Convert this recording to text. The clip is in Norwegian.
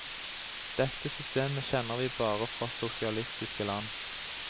Dette system kjenner vi bare fra sosialistiske land.